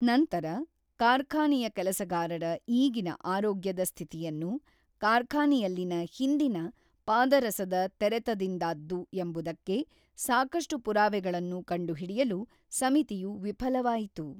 ನಂತರ, ಕಾರ್ಖಾನೆಯ ಕೆಲಸಗಾರರ ಈಗಿನ ಆರೋಗ್ಯದ ಸ್ಥಿತಿಯನ್ನು ಕಾರ್ಖಾನೆಯಲ್ಲಿನ ಹಿಂದಿನ ಪಾದರಸದ ತೆರೆತದಿಂದಾದ್ದು ಎಂಬುದಕ್ಕೆ ಸಾಕಷ್ಟು ಪುರಾವೆಗಳನ್ನು ಕಂಡುಹಿಡಿಯಲು ಸಮಿತಿಯು ವಿಫಲವಾಯಿತು.